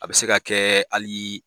A bɛ se ka kɛ hali